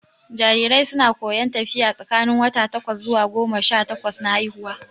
Jarirai su na koyon tafiya tsakanin wata takwas zuwa goma sha takwas na haihuwa